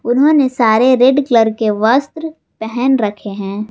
उन्होंने सारे red colour के वस्त्र पहन रखे हैं।